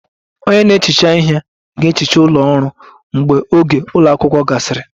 Onye na-ehicha ihe ga-ehicha ụlọ ọrụ mgbe oge ụlọ akwụkwọ gasịrị